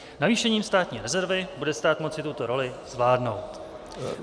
Navýšením státní rezervy bude stát moci tuto roli zvládnout.